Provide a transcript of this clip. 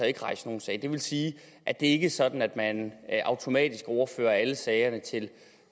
ikke rejse nogen sag det vil sige at det ikke er sådan at man automatisk overfører alle sagerne til